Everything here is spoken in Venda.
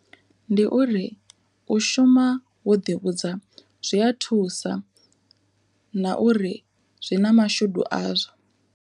Ndi uri u shuma wo ḓi vhudza zwi a thusa na uri zwi na mashudu azwo.